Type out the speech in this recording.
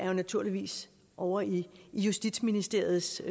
jo naturligvis ovre i justitsministeriets